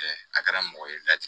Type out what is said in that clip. a kɛra mɔgɔ ye laja